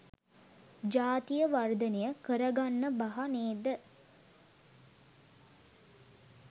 ජාතිය වර්ධනය කරගන්න බහ නේද?